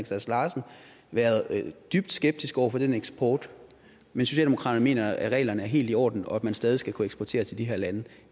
sass larsen være dybt skeptisk over for den eksport men socialdemokratiet mener at reglerne er helt i orden og at man stadig skal kunne eksportere til de her lande